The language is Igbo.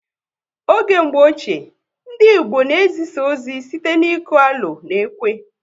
Oge mgbọ ochie, ndị Igbo na ezisa ozi site n'iku alo na ekwe